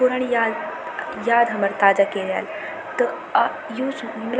पुरणी याद याद हमर ताजा कैर्याल त त अ यु सु --